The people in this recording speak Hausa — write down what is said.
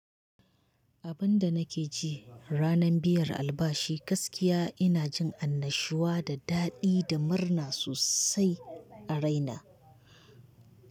Abin da nake ji ranar biyar albashi gaskiya ina jin annashuwa da daɗi da murna sosai a raina.